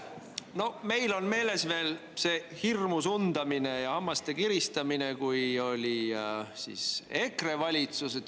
No meil on meeles veel see hirmus undamine ja hammaste kiristamine, kui oli EKRE valitsus.